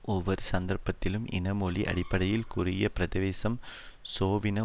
ஒவ்வொரு சந்தர்ப்பத்திலும் இன மொழி அடிப்படையில் குறுகிய பிரதேசம் சோவின